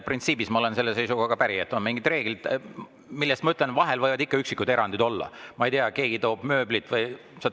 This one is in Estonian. Printsiibis olen ma päri selle seisukohaga, et on mingid reeglid, millest, ma ütlen, vahel võivad ikka üksikud erandid olla, ma ei tea, keegi toob mööblit või.